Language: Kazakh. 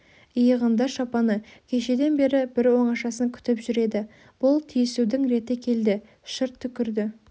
иығында шапаны кешеден бері бір оңашасын күтіп жүр еді бұл тиісудің реті келді шырт түкірді